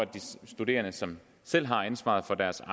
de studerende som selv har ansvaret for deres